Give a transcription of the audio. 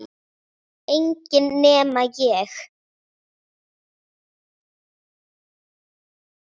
Þannig varð mitt fyrsta fyllerí